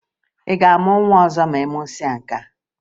Ị ga-amụ nwa ọzọ ma ị mụsịa nwa nkea?